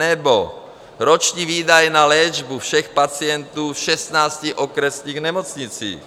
Nebo roční výdaje na léčbu všech pacientů v 16 okresních nemocnicích.